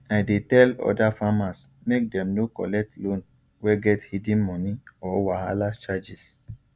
i dey tell other farmers make dem no collect loan wey get hidden money or wahala charges